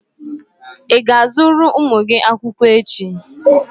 Ị ga-azụrụ ụmụ gị akwụkwọ echi?